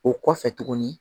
O kɔfɛ tuguni